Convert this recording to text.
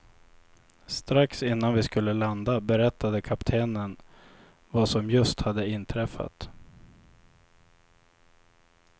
Strax innan vi skulle landa berättade kaptenen vad som just hade inträffat.